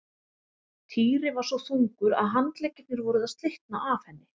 Týri var svo þungur að handleggirnir voru að slitna af henni.